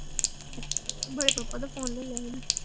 ਬੜੇ ਪਾਪਾ ਦਾ phone ਲੈ ਲਿਆ ਸੀ ਨਾ।